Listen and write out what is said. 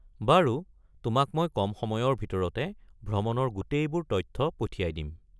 বাৰু, তোমাক মই কম সময়ৰ ভিতৰতে ভ্ৰমণৰ গোটেইবোৰ তথ্য পঠিয়াই দিম।